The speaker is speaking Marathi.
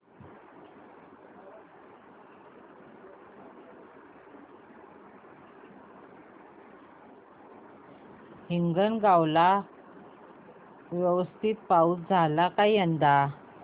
हिंगणगाव ला व्यवस्थित पाऊस झाला का यंदा